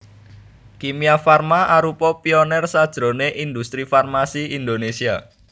Kimia Farma arupa pioner sajroné industri farmasi Indonesia